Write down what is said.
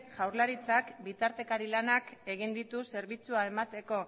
jaurlaritzak bitartekari lanak egin ditu zerbitzua emateko